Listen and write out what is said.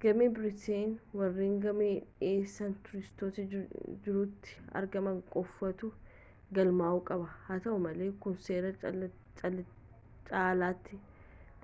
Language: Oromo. gama biraatiin warreen gama dhiheessi tuuristootaa jirutti argaman qofaatu galmaa'uu qaba haa ta'u malee kun seera caalaatti